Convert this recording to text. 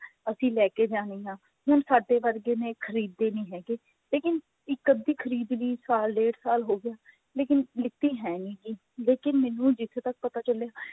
ਅਸੀਂ ਲੈਕੇ ਜਾਣੀ ਹੈ ਹੁਣ ਸਾਡੇ ਵਰਗੇ ਨੇ ਖਰੀਦਦੇ ਨਹੀਂ ਹੈਗੇ ਲੇਕਿਨ ਇੱਕ ਅੱਧੀ ਖਰੀਦ ਲਈ ਸਾਲ ਡੇਢ ਸਾਲ ਹੋ ਗਿਆ ਲੇਕਿਨ ਲੀਤੀ ਹੈ ਨਿਗੀ ਲੇਕਿਨ ਮੈਨੂੰ ਜਿੱਥੇ ਤੱਕ ਪਤਾ ਚੱਲਿਆ